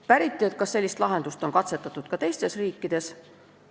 Päriti, kas sellist lahendust on katsetatud ka teistes riikides.